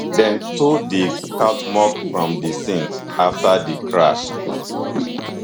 dem tow di cuauhtmoc from di scene afta di crash